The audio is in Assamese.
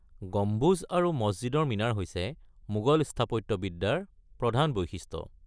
গম্বুজ আৰু মছজিদৰ মিনাৰ হৈছে মোগল স্থাপত্যবিদ্যাৰ প্ৰধান বৈশিষ্ট্য।